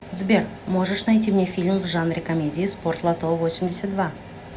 сбер можешь найти мне фильм в жанре комедии спортлото весемьдесят два